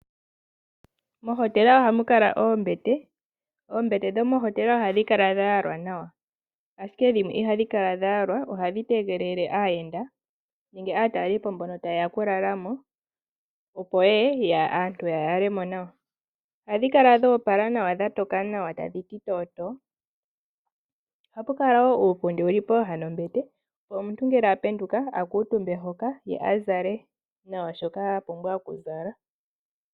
Mohotela ohamu kala oombete. Oombete dhomohotela ohadhi kala dha yalwa nawa, ashike dhimwe ihadhi kala dha yalwa ohadhi tegelele aayenda nenge aatalelipo mbono taye ya okulala mo, opo ye ye aantu ya yale mo nawa. Ohadhi kala dho opala nawa dha toka nawa tadhi ti tootoo. Ohapu kala wo uupundi wu li pooha nombete, opo omuntu ngele a penduka a kuutumbe hoka ye a zale nawa shoka a pumbwa okuzala.